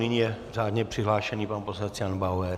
Nyní je řádně přihlášen pan poslanec Jan Bauer.